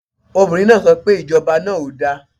Obìnrin náà so pe Ìjọba náà ò da